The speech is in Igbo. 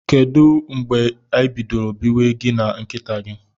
Kedu mgbe ibidoro biwe gi na nkita gi?